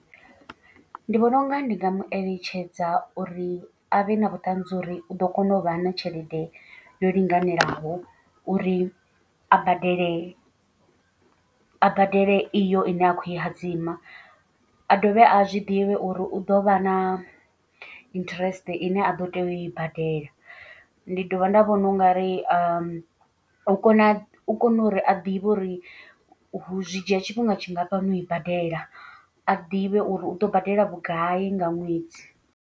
Ndi vhona unga ndi nga mu eletshedza uri a vhe na vhuṱanzi uri u ḓo kona u vha na tshelede yo linganelaho. Uri a badele a badele iyo ine a khou i hadzima. A dovhe a zwi ḓivhe uri u ḓo vha na interest ine a ḓo tea u i badela. Ndi dovha nda vhona u nga ri u kona u kona uri a ḓivhe uri u zwi dzhia tshifhinga tshingafhani u i badela. A ḓivhe uri u ḓo badela vhugai nga ṅwedzi.